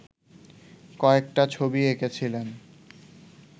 কয়েকটা ছবি এঁকেছিলেন